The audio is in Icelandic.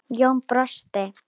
Jón brosti.